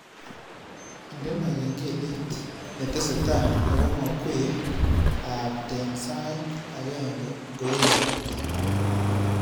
Indene kengelet netesetai agomakwei aapten sait agenge ngoekati